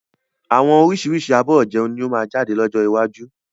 Àwọn oríṣiríṣi abọ́ ìjẹun ni ó máa jáde lọ́jọ́ iwájú